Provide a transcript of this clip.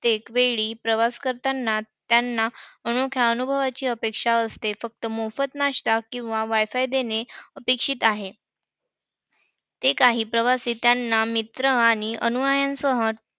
प्रत्येक वेळी त्यांना प्रवास करताना अनोख्या अनुभवाची अपेक्षा असते. फक्त मोफत नाश्ता किंवा WIFI देणे अपेक्षित आहे. ते काही प्रवासी त्यांना मित्र आणि अनुयायांसह